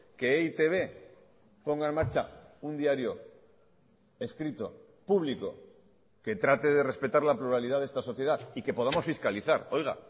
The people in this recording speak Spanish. que e i te be ponga en marcha un diario escrito público que trate de respetar la pluralidad de esta sociedad y que podamos fiscalizar oiga